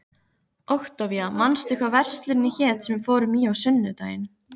Októvía, manstu hvað verslunin hét sem við fórum í á sunnudaginn?